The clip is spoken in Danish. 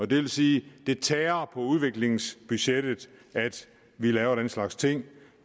det vil sige at det tærer på udviklingsbudgettet at lave den slags ting